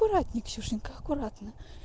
аккуратно ксюшенька аккуратно